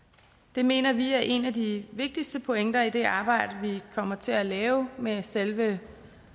det mener vi er en af de vigtigste pointer i det arbejde vi kommer til at lave med selve